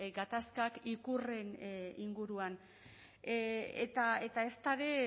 gatazkak ikurren inguruan eta ezta ere